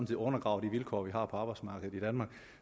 set undergraver de vilkår vi har på arbejdsmarkedet i danmark